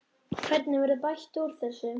Hvernig verður bætt úr þessu?